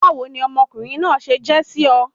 Báwo ni ọmọ ọkùnrin náà se je sí o?